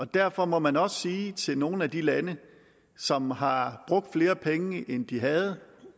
derfor må man også sige til nogle af de lande som har brugt flere penge end de havde